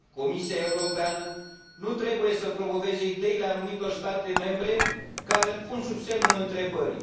Comisia Europeană nu trebuie să promoveze ideile anumitor state membre care îl pun sub semnul întrebării.